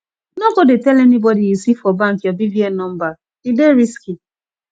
no go dey tell anybody you see for bank your bvn number e dey risky